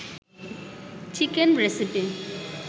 chicken recipe